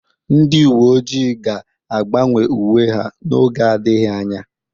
Ndị uwe ojii ga-agbanwe uwe ha n'oge adịghị anya.